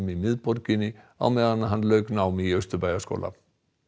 í miðborginni á meðan hann lauk námi í Austurbæjarskóla